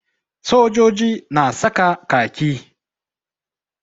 Sojoji na saka kaki.